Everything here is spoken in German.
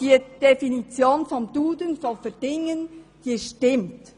Die Definition von «verdingen» nach «Duden» stimmt.